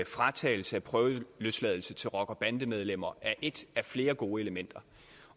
fratagelse af prøveløsladelse til rocker bande medlemmer er et af flere gode elementer